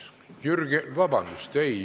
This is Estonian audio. Vabandust!